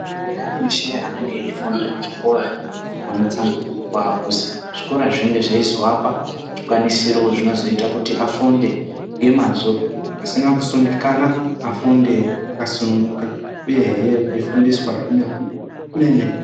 Anthani veshe anenge eifunda muzvikora anotsanangurirwa kuti zvikora zvinenge zveizovapa zvikwanisiro zvinoita kuti afunde ngemazvo, pasina kusungikana, vafunde vakasununguka uyehe veifundiswa zvemene-mene.